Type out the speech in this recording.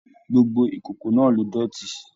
Gbogbo ìkòkò náà ló dótì.